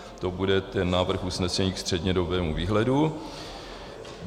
To bude ten návrh usnesení k střednědobému výhledu.